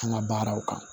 An ka baaraw kan